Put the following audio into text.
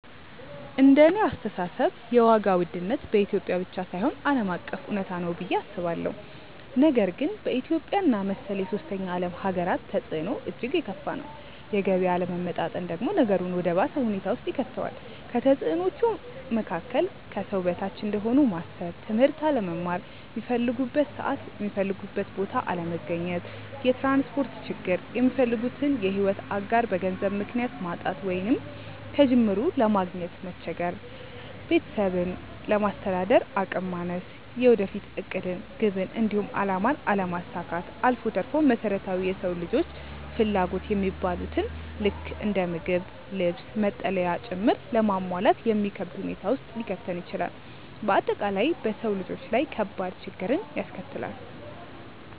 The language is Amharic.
እንደኔ አስተሳሰብ የዋጋ ውድነት በኢትዮጵያ ብቻ ሳይሆን ዓለም አቀፍ እውነታ ነው ብዬ አስባለሁ፤ ነገር ግን በኢትዮጵያ እና መሰል የሶስተኛ ዓለም ሃገራት ተፅዕኖው እጅግ የከፋ ነው። የገቢ አለመመጣጠን ደግሞ ነገሩን ወደ ባሰ ሁኔታ ውስጥ ይከተዋል። ከተፅዕኖዎቹ መካከል፦ ከሰው በታች እንደሆኑ ማሰብ፣ ትምህርት አለመማር፣ ሚፈልጉበት ሰዓት የሚፈልጉበት ቦታ አለመገኘት፣ የትራንስፖርት ችግር፣ የሚፈልጉትን የሕይወት አጋር በገንዘብ ምክንያት ማጣት ወይንም ከጅምሩ ለማግኘት መቸገር፣ ቤተሰብን ለማስተዳደር አቅም ማነስ፣ የወደፊት ዕቅድን፣ ግብን፣ እንዲሁም አላማን አለማሳካት አልፎ ተርፎም መሰረታዊ የሰው ልጆች ፍላጎት የሚባሉትን ልክ እንደ ምግብ፣ ልብስ፣ መጠለያ ጭምር ለማሟላት የሚከብድ ሁኔታ ውስጥ ሊከተን ይችላል። በአጠቃላይ በሰው ልጆች ላይ ከባድ ችግርን ያስከትላል።